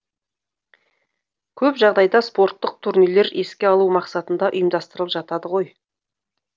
көп жағдайда спорттық турнирлер еске алу мақсатында ұйымдастырылып жатады ғой